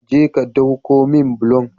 Je ka dauko min bulon